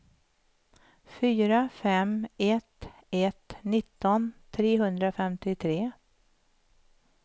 fyra fem ett ett nitton trehundrafemtiotre